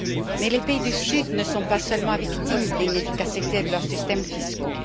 Mais les pays du Sud ne sont pas seulement victimes de l'inefficacité de leurs systèmes fiscaux.